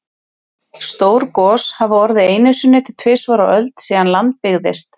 Stór gos hafa orðið einu sinni til tvisvar á öld síðan land byggðist.